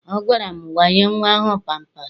Ọ gwara m, wanye nnwa ahụ pampaasị!